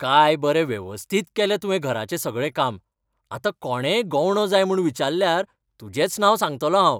काय बरें वेवस्थीत केलें तुवें घराचें सगळें काम. आतां कोणेय गवंडो जाय म्हूण विचाल्ल्यार तुजेंच नांव सांगतलों हांव.